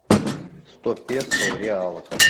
сто песо в реалах